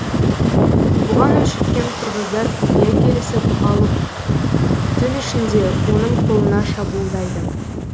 бұған өшіккен қырғыздар құпия келісіп алып түн ішінде оның қолына шабуылдайды